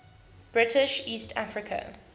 british east africa